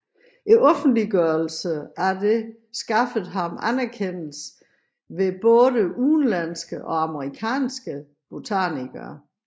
Offentliggørelsen af det skaffede ham anerkendelse hos både udenlandske og amerikanske botanikere